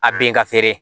A ben ka feere